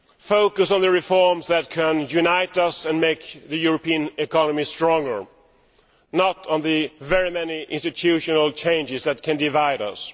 focus on the reforms that can unite us and make the European economy stronger, not on the very many institutional changes that can divide us.